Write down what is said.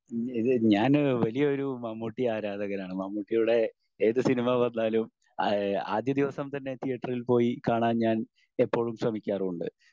ഞാന് വലിയൊരു മമ്മൂട്ടി ആരാധകനാണ്. മമ്മൂക്കയുടെ ഏത് സിനിമ പറഞ്ഞാലും ആഹ് ആദ്യ ദിവസം തന്നെ തീയറ്ററിൽ പോയി കാണാൻ ഞാൻ എപ്പോഴും ശ്രമിക്കാറുണ്ട്.